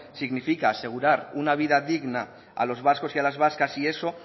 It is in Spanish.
significa asegurar una vida digna a los vascos y las vascas y eso